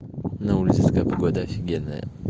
на улице такая погода офигенная